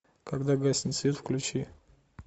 когда гаснет свет включи